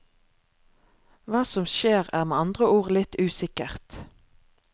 Hva som skjer, er med andre ord litt usikkert.